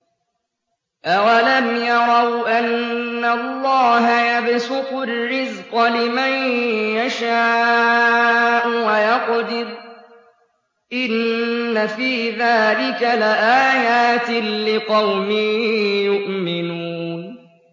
أَوَلَمْ يَرَوْا أَنَّ اللَّهَ يَبْسُطُ الرِّزْقَ لِمَن يَشَاءُ وَيَقْدِرُ ۚ إِنَّ فِي ذَٰلِكَ لَآيَاتٍ لِّقَوْمٍ يُؤْمِنُونَ